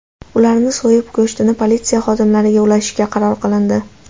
Ularni so‘yib, go‘shtini politsiya xodimlariga ulashishga qaror qilindi.